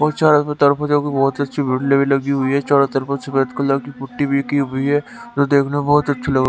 और चारों तरफ जो की बहुत अच्छी भी लगी हुई है चारों तरफ सफेद कलर की पुट्टी भी की हुई है जो देखने में बहुत अच्छी लग --